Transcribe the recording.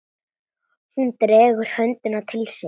Hún dregur höndina til sín.